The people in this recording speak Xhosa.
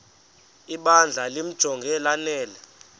ibandla limjonge lanele